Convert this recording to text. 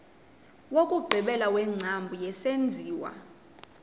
wokugqibela wengcambu yesenziwa